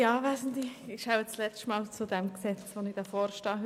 Ich werde nun wohl zum letzten Mal zu diesem Gesetz am Rednerpult stehen.